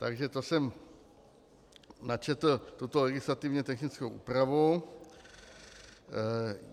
Takže to jsem načetl tuto legislativně technickou úpravu.